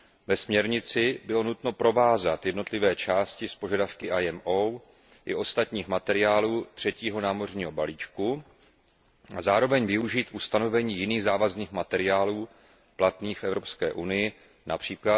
Ve směrnici bylo nutno provázat jednotlivé části s požadavky IMO i ostatních materiálů třetího námořního balíčku a zároveň využít ustanovení jiných závazných materiálů platných v Evropské unii, např.